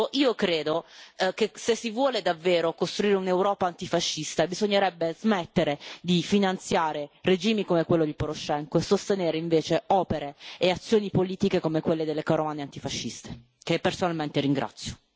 Io credo che, se si vuole davvero costruire un'Europa antifascista, bisognerebbe smettere di finanziare regimi come quello di Poroshenko e sostenere invece opere e azioni politiche come quelle delle carovane antifasciste, che personalmente ringrazio.